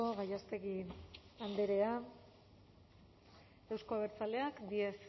gallástegui andrea euzko abertzaleak díez